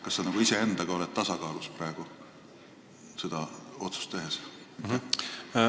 Kas sa oled iseendaga rahujalal praegu seda otsust tehes?